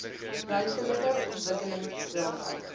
ruimtelike ontwikkelings raamwerke